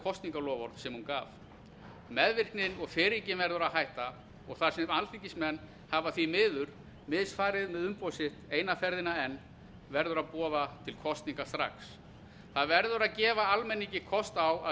kosningaloforð sem hún gaf meðvirknin og firringin verður að hætta og þar sem alþingismenn hafa því miður misfarið með umboð sitt eina ferðina enn verður að boða til kosninga strax það verður að gefa almenningi kost á að